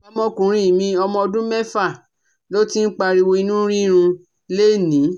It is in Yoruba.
Ọmọkùnrin mi ọmọ ọdún méfà ló ti ń pariwo inú rírun lénìí